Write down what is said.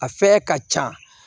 A fɛyɛ ka ca